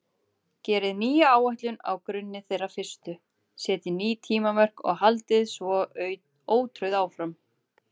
Gerið nýja áætlun á grunni þeirrar fyrstu, setjið ný tímamörk og haldið svo ótrauð áfram.